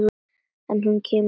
En hún kemur ekki út.